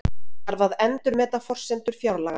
Þarf að endurmeta forsendur fjárlaganna